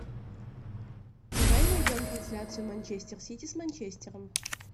давай найдем трансляцию манчестер сити с манчестером